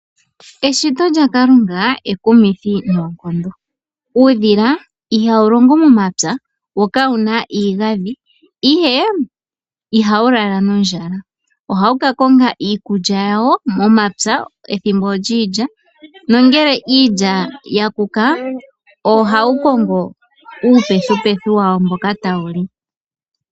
Eshito lyaKalunga ekumithi noonkondo. Uudhila ihawu longo momapya wo kawuna iigadhi ihe ihawu lala nondjala ohawu kakonga iikulya yawo momapya ethimbo lyiilya nongele iilya yakuka ohawu kongo uupethupethu wawo mboka tawuli.